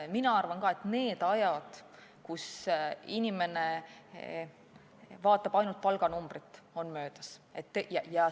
Mina arvan ka, et need ajad, kui inimene vaatas ainult palganumbrit, on möödas.